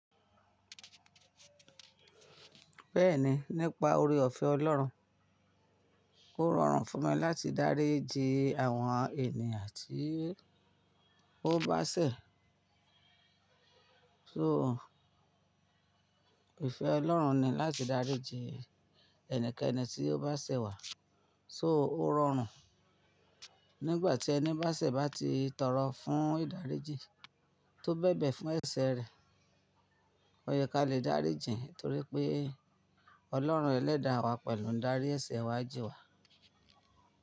Bẹ́ẹ̀ni, nípa oore ọ̀fẹ́ Ọlọ́run. Ó rọrùn fún mi láti dáríji àwọn ènìyàn tí ó bá ṣẹ̀. So, ìfẹ́ Ọlọ́run ni láti dáríji ẹni keni tí ó bá ṣẹ̀ wá. So, ó rọrùn. Nígbà tí ẹni bá ṣẹ̀ bá ti tọrọ fún ìdáríji tó bẹ̀bẹ̀ fún ẹsẹ̀ rẹ̀, ó yẹ kí a lè dáríji ẹ̀ torí pé Ọlọ́run ẹ̀ lẹ́da wá pẹ̀lú n darí ẹsẹ̀ wá jí wá.